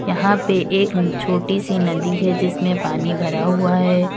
यहां पे एक छोटी सी नदी है जिसमें पानी भरा हुआ है।